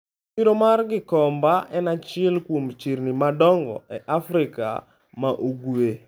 Chiro mar Gikomba en achiel kuom chirni madongo e Afrika ma Ugwe.